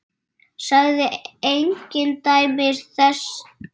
Sagði engin dæmi þess.